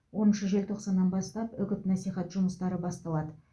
оныншы желтоқсаннан бастап үгіт насихат жұмыстары басталады